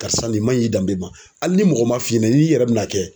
Karisa nin man ɲi danbe ma hali ni mɔgɔ ma f'i ɲɛna n'i yɛrɛ bɛna kɛ.